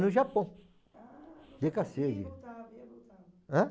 No Japão... Ãh?